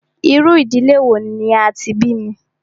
Irú ìdílé wò ní a tí bí mí?